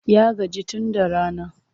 Ya gaji tun da rana.